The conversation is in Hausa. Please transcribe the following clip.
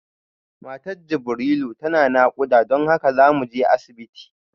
Matar Jibrilu tana nakuda don haka zamuje asibiti